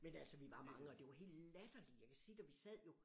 Men altså vi var mange og det var helt latterligt jeg kan sige da vi sad jo